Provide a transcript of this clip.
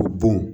Bon